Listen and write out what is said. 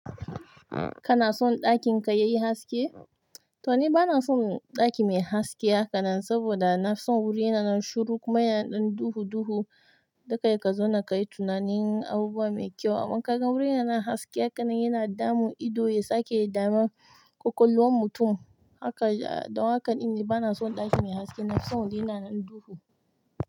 Kana son ɗakin ka yayi haske? To ni bana son ɗaki mai haske haka nan, saboda na son wuri yana nan shiru kuma yana ɗan duhu-duhu, dakai kazo kayi tunanin abubuwa mai kyau. Amma kaga wurin yana haske haka nan yana damun ido, ya sake damar ƙwaƙwalwar mutum. Haka, don haka ni bana son ɗaki mai haske, na son wuri yana nan duhu.